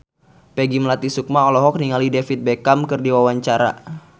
Peggy Melati Sukma olohok ningali David Beckham keur diwawancara